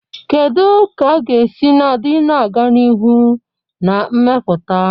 Kedu ka a ga-esi nọgide na-aga n'ihu na mmepụta?